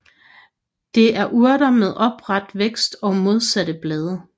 Det er urter med opret vækst og modsatte blade